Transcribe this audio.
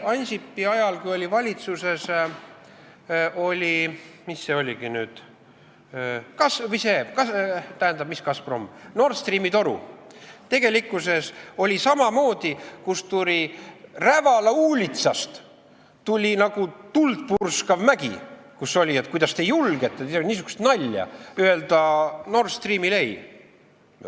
Kui Ansipi ajal oli valitsuses arutlusel Nord Streami toru, siis oli samamoodi, Rävala uulitsast tuli nagu tuldpurskav mägi, et kuidas te julgete teha niisugust nalja ja öelda Nord Streamile ei.